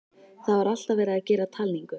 Það var alltaf verið að gera talningu.